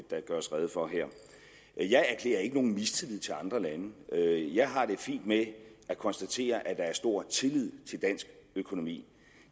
der gøres rede for her jeg erklærer ikke nogen mistillid til andre lande jeg har det fint med at konstatere at der er stor tillid til dansk økonomi